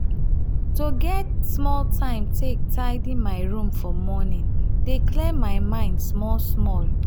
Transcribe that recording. to get small time take tidy my room for morning dey clear my mind small. small.